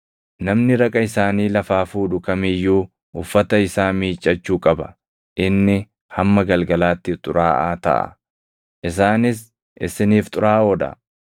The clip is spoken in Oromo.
Namni raqa isaanii lafaa fuudhu kam iyyuu uffata isaa miiccachuu qaba; inni hamma galgalaatti xuraaʼaa taʼa. Isaanis isiniif xuraaʼoo dha.